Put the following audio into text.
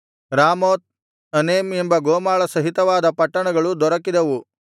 Ramoth Anem ಎಂಬ ಗೋಮಾಳ ಸಹಿತವಾದ ಪಟ್ಟಣಗಳು ದೊರಕಿದವು